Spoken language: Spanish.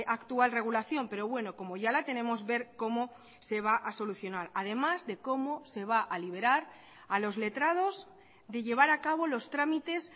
actual regulación pero bueno como ya la tenemos ver cómo se va a solucionar además de cómo se va a liberar a los letrados de llevar a cabo los trámites